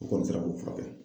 U kɔni sela k'o furakɛ.